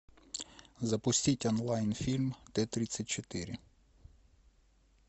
запустить онлайн фильм т тридцать четыре